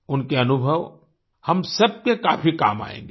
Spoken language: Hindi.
उनके अनुभव हम सब के काफ़ी काम आयेंगें